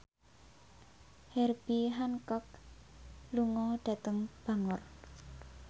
Herbie Hancock lunga dhateng Bangor